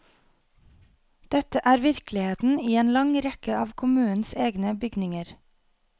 Dette er virkeligheten i en lang rekke av kommunens egne bygninger.